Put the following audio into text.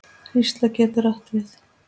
Hrísla getur átt við